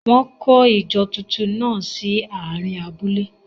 Wọ́n kọ́ ìjọsìn túntún náà sí àárín abúlé.